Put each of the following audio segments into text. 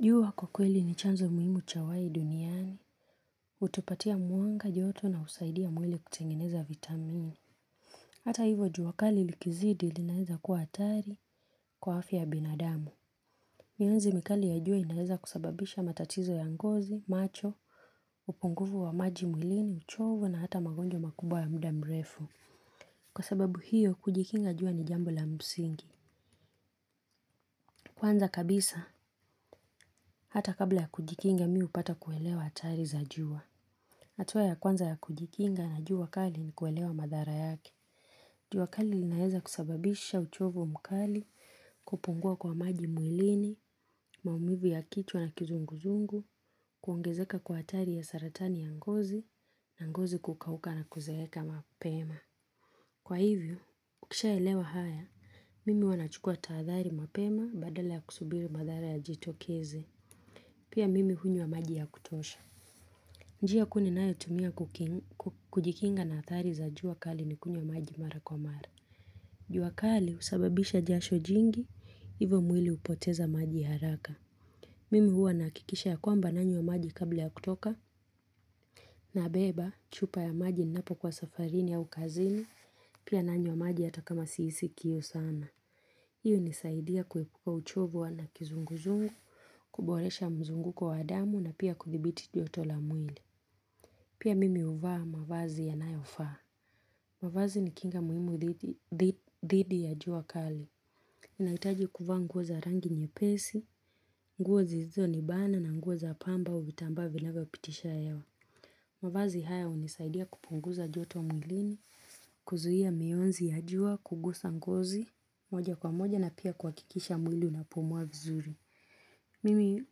Jua kwa kweli ni chanzo muhimu cha uhai duniani, hutupatia mwanga joto na husaidia mwili kutengeneza vitamini. Hata hivyo jua kali likizidi linaweza kuwa hatari kwa afya ya binadamu. Mianzi mikali ya jua inaweza kusababisha matatizo ya ngozi, macho, upungufu wa maji mwilini, uchovu na hata magonjwa makubwa ya muda mrefu. Kwa sababu hiyo kujikinga jua ni jambo la msingi. Kwanza kabisa, hata kabla ya kujikinga mimi hupata kuelewa hatari za jua. Hatua ya kwanza ya kujikinga na juua kali ni kuelewa madhara yake. Jua kali linaweza kusababisha uchovu mkali, kupungua kwa maji mwilini, maumivu ya kichwa na kizunguzungu, kuongezeka kwa hatari ya saratani ya ngozi, na ngozi kukauka na kuzeeka mapema. Kwa hivyo, ukishaelewa haya, mimi huwa nachukua tahadhari mapema badala ya kusubiri madhara yajitokeze. Pia mimi hunywa maji ya kutosha. Njia kuu ninayo tumia kujikinga na hatari za jua kali ni kunywa maji mara kwa mara jua kali husababisha jasho jingi, hivyo mwili hupoteza maji haraka Mimi huwa nahakikisha ya kwamba nanywa maji kabla ya kutoka nabeba, chupa ya maji ninapo kuwa safarini au kazini, pia nanywa maji hata kama sihisi kiu sana hiyo hunisaidia kuepuka uchovu wa na kizunguzungu, kuboresha mzunguko wa damu na pia kuthibiti joto la mwili Pia mimi huvaa mavazi yanayofaa. Mavazi ni kinga muhimu dhidi ya jua kali. Nahitaji kuvaa nguo za rangi nyepesi, nguo zisizo nibana na nguo za pamba au vitambaa vinavyo pitisha hewa. Mavazi haya hunisaidia kupunguza joto mwilini, kuzuia miyonzi ya jua, kugusa ngozi, moja kwa moja na pia kuhakikisha mwili unapumua vizuri. Mimi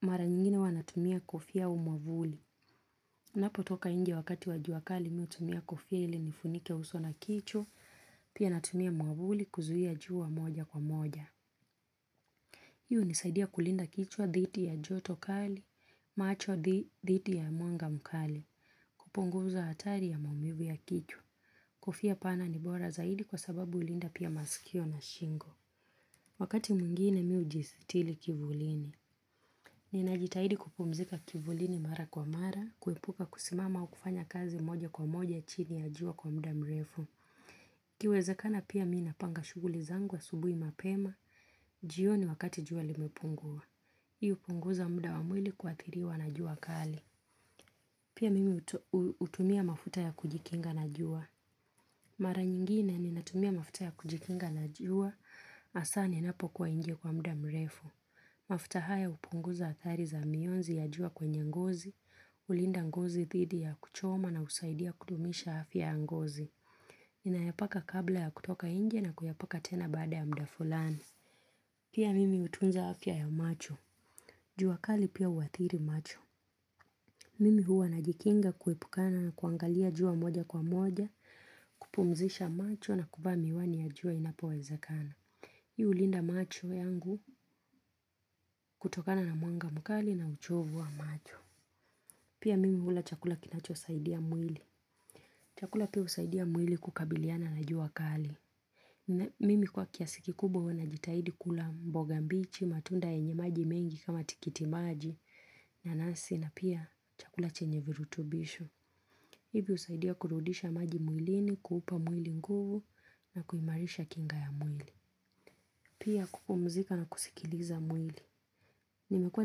mara nyingine huwa natumia kufia au mwavuli. niNapo toka nje wakati wa jua kali mimi hutumia kofia ili nifunike uso na kichwa, pia natumia mwavuli kuzuia jua moja kwa moja. Hii hunisaidia kulinda kichwa dhiti ya joto kali, macho dhiti ya mwanga mkali, kupunguza hatari ya maumivu ya kichwa. Kofia pana ni bora zaidi kwa sababu hulinda pia masikio na shingo. Wakati mwingine mimi hujistili kivulini. Ninajitahidi kupumzika kivulini mara kwa mara, kuepuka kusimama au kufanya kazi moja kwa moja chini ya jua kwa muda mrefu. iKiwezakana pia mimi napanga shughuli zangu asubuhi mapema, jioni wakati jua limepungua. Hii hupunguza muda wa mwili kuathiliwa na jua kali. Pia mimi hutumia mafuta ya kujikinga na jua. Mara nyingine ninatumia mafuta ya kujikinga na jua, hasa ninapo kuwa nje kwa muda mrefu. Mafuta haya hupunguza athari za miyonzi ya jua kwenye ngozi hUlinda ngozi thidi ya kuchoma na husaidia kudumisha afya ya ngozi ninayapaka kabla ya kutoka nje na kuyapaka tena baada ya muda fulani Pia mimi hutunza afya ya macho jua kali pia huathiri macho Mimi hua najikinga kuepukana na kuangalia jua moja kwa moja kupumzisha macho na kuvaa miwani ya jua inapowezakana Hii hulinda macho yangu kutokana na mwanga mkali na uchovu wa macho. Pia mimi hula chakula kinacho saidia mwili. Chakula pia husaidia mwili kukabiliana na jua kali. Mimi kwa kiasi kikubwa huwa najitahidi kula mboga mbichi, matunda yenye maji mengi kama tikiti maji, nanasi na pia chakula chenye virutubisho. Hivi husaidia kurudisha maji mwilini, kuupa mwili nguvu na kuimarisha kinga ya mwili. Pia kupumzika na kusikiliza mwili. Nimekua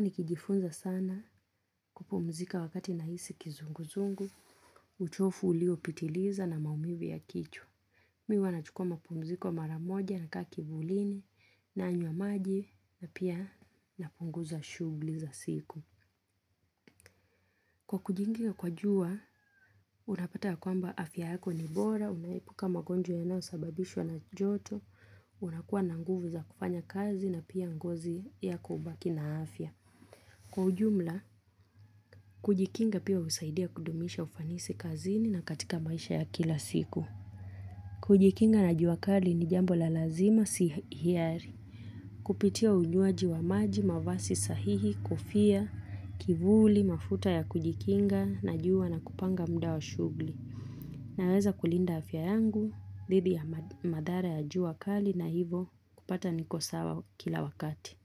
nikijifunza sana kupumzika wakati nahisi kizunguzungu, uchovu ulio pitiliza na maumivu ya kichwa. Mimi huwa nachuka mapumziko mara moja nakaa kivulini nanywa maji na pia napunguza shughuli za siku. Kwa kujikinga kwa jua, unapata ya kwamba afya yako ni bora, unaepuka magonjo yanayo sababishwa na joto, unakuwa na nguvu za kufanya kazi na pia ngozi yako hubaki na afya. Kwa ujumla, kujikinga pia husaidia kudumisha ufanisi kazini na katika maisha ya kila siku. Kujikinga na jua kali ni jambo la lazima si hiari. Kupitia unywaji wa maji, mavazi sahihi, kofia, kivuli, mafuta ya kujikinga, na jua na kupanga muda wa shughuli. Naweza kulinda afya yangu, dhidi ya madhara ya jua kali na hivyo kupata niko sawa kila wakati.